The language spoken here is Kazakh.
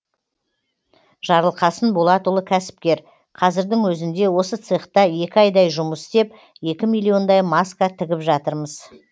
жарылқасын болатұлы кәсіпкер қазірдің өзінде осы цехта екі айдай жұмыс істеп екі миллиондай маска тігіп жатырмыз